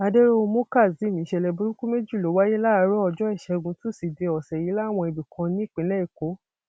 adẹróhunmú kazeem ìṣẹlẹ burúkú méjì ló wáyé láàárọ ọjọ ìṣẹgun tusidee ọsẹ yìí láwọn ibì kan nípìnlẹ èkó